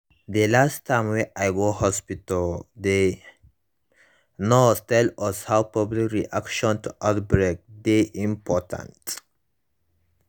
dey last time wey i go hospitalthe nurse tell us how public reaction to outbreak dey important